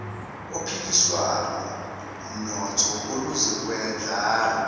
ophiliswano mnotho oluzokwendlala